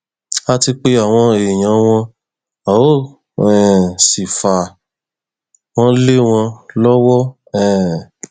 a ti pe àwọn èèyàn wọn a ó um sì fà wọn lé wọn lọwọ um